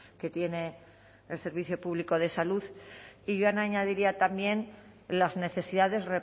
que tiene el servicio público de salud y yo añadiría también las necesidades